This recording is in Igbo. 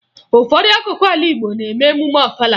Ụfọdụ akụkụ ala Igbo na-eme emume Ọfala